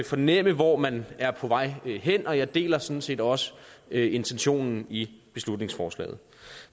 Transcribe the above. fornemme hvor man er på vej hen og jeg deler sådan set også intentionen i beslutningsforslaget